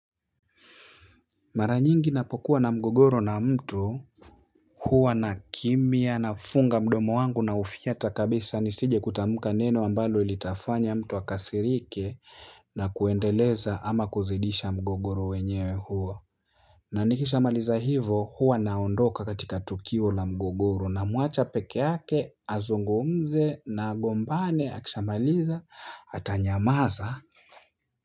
Mara nyingi ninapokuwa na mgogoro na mtu huwa nakimya nafunga mdomo wangu naufyata kabisa nisijekutamka neno ambalo litafanya mtu akasirike na kuendeleza ama kuzidisha mgogoro wenyewe huo na nikishamaliza hivo huwa naondoka katika tukio la mgogoro namuacha peke yake azungumze na agombane akishamaliza atanyamaza.